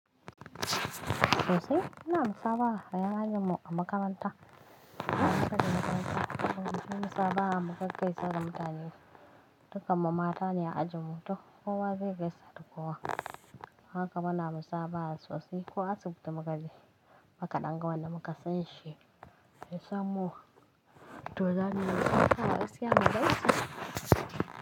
Sosai ina musabaha da en ajin mu a makaranta. Ina musawa mutane. Ina musafaha muƙa gaisawa mutane dukan mu matane a ajin mu to ko wa zai gaisa da kowa haka bana musaha sosai ko asibiti muka je muka ɗan ga wanda muka san shi ya sanmu to zamuyi musafaha gaskiya mu gaisa.